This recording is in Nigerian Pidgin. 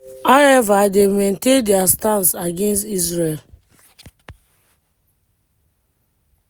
however dem maintain dia stance against israel.